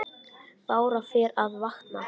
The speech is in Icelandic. Bára fer að vakna.